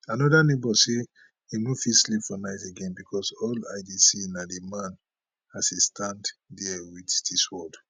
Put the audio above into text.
another neighbour say im no fit sleep for night again becos all i dey see na di man as e stand dia wit di sword